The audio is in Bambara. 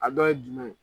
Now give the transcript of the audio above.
A dɔ ye jumɛn ye